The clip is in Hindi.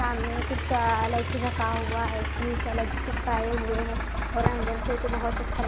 सामने कुछ हुआ है और अंदर से तो बहोत अच्छा--